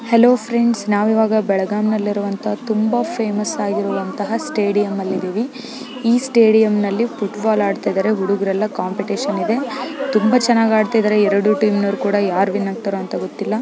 Hello friends ನಾವು ಇವಾಗ ಬೆಳಗಾಂನಲ್ಲಿ ಇರುವಂತಹ ತುಂಬಾ ಫೇಮಸ್ ಆಗಿರುವಂತಹ ಸ್ಟೇಡಿಯಂನಲ್ಲಿ ಇದ್ದೀವಿ ಈ ಸ್ಟೇಡಿಯಂನಲ್ಲಿ ಫುಟ್ಬಾಲ್ ಹಾಡುತ್ತಿದ್ದಾರೆ ಹುಡುಗರೆಲ್ಲ ಕಾಂಪಿಟೇಶನ್ ಇದ್ದೆ ತುಂಬಾ ಚೆನ್ನಾಗಿ ಆಟ ಆಡುತ್ತಿದ್ದಾರೆ ಎರಡು ಟೀಮ್ ಅವರು ಕೂಡ ಯಾರು ವಿನ್ ಆಗ್ತಾರೆ ಅಂತ ಗೊತ್ತಿಲ್ಲ.